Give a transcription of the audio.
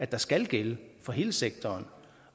der skal gælde for hele sektoren